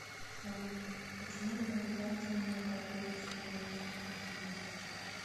салют почему на моей карте не накапливаются бонусы спасибо